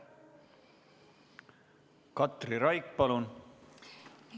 Katri Raik, palun!